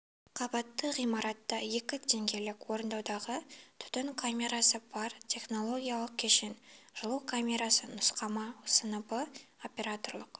қабатты ғимартта екі деңгейлік орындаудағы түтін камерасы бар технологиялық кешен жылу камерасы нұсқама сыныбы операторлық